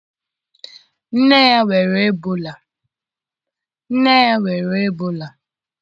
nne ya nwere Ebola.